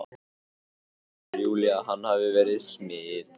En nú segir Júlía hann hafa verið smið.